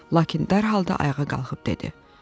Lakin dərhal da ayağa qalxıb dedi: